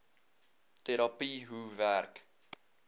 terapie hoe werk